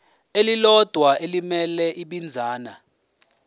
elilodwa elimele ibinzana